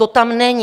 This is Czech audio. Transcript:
To tam není.